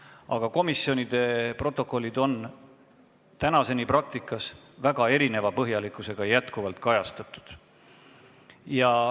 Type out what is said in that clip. Aga komisjonide protokollid on tänaseni praktikas põhjalikkuse poolest väga erinevad.